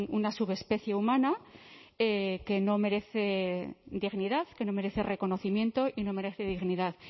una subespecie humana que no merece dignidad que no merece reconocimiento y no merece dignidad